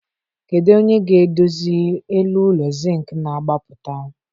Kedu onye ga-edozi elu ụlọ Zịnkị na-agbapụta?